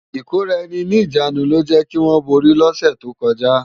Ikóráèni ni ijánú ló jè kiwòn bóri lòsè tókòjá